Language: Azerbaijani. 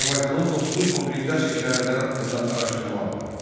Azərbaycanın 9-11-ci əsr şəhərləri haqqında araşdırma apar.